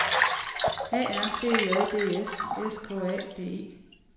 A R B E J D S S K A D E